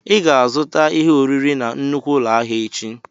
Ị ga-azụta ihe oriri na nnukwu ụlọ ahịa echi!